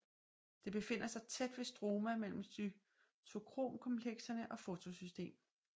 Det befinder sig tæt ved stroma mellem cytokromkomplekserne og fotosystem I